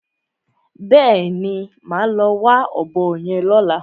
Bẹ́ẹ̀ni, màá lọ wá ọ̀bọ yẹn lọ́la.